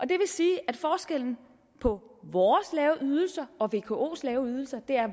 det vil sige at forskellen på vores lave ydelser og vkos lave ydelser er at